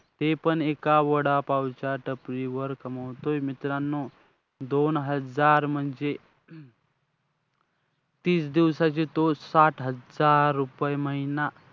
अशा प्रकारे सरकार वेगवेगळ्या योजना करून लोकांमध्ये जनजागृती करून जो